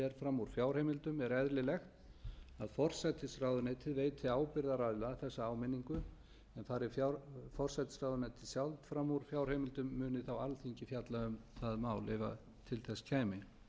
fram úr fjárheimildum er eðlilegt að forsætisráðuneytið veiti ábyrgðaraðila þessa áminninguna en fari forsætisráðuneytið sjálft fram úr fjárheimildum muni alþingi fjalla um það mál ef til þess